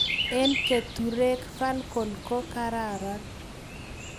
Eng' keturek Falcon ko karan